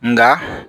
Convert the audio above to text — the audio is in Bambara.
Nga